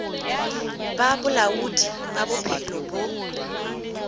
ba bolaodi ba bophelo bo